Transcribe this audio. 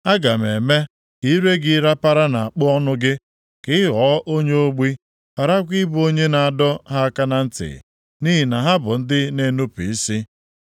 Aga m eme ka ire gị rapara nʼakpo ọnụ gị, ka ị ghọọ onye ogbi, gharakwa ịbụ onye na-adọ ha aka na ntị, nʼihi na ha bụ ndị na-enupu isi.